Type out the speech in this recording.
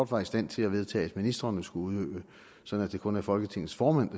var i stand til at vedtage at ministrene skulle udøve så det kun er folketingets formand